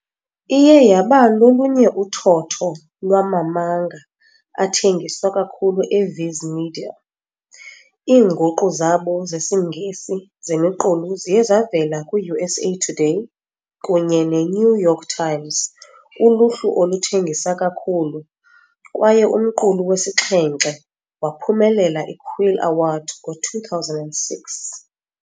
Iye yaba lolunye uthotho lwama-manga athengiswa kakhulu eViz Media, Iinguqu zabo zesiNgesi zemiqulu ziye zavela kwi-USA Today kunye ne-New York Times uluhlu oluthengisa kakhulu, kwaye umqulu wesixhenxe waphumelela i-Quill Award ngo-2006.